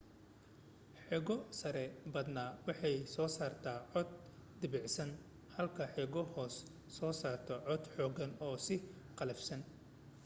xeego-sare badanaa waxay soo saartaa cod debecsan halka xeego-hoose soo saarto cod xooggan oo sii qallafsan